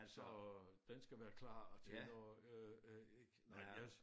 Så den skal være klar til når øh øh ik nej jeg